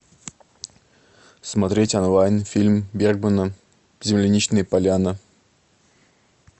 смотреть онлайн фильм бергмана земляничная поляна